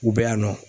U bɛ yan nɔ